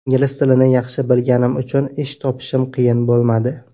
Ingliz tilini yaxshi bilganim uchun ish topishim qiyin bo‘lmadi.